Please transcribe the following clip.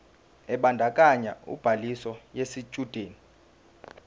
ebandakanya ubhaliso yesitshudeni